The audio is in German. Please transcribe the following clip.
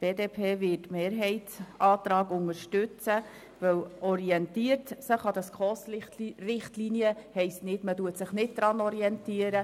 Die BDP wird den Mehrheitsantrag unterstützen, da die Formulierung «orientiert sich an den SKOS-Richtlinien» nicht bedeutet, dass man sich nicht daran orientiert.